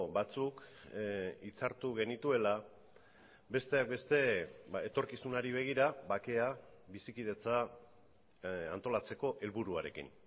batzuk hitzartu genituela besteak beste etorkizunari begira bakea bizikidetza antolatzeko helburuarekin